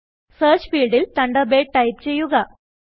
search field ൽ Thunderbirdടൈപ്പ് ചെയ്യുക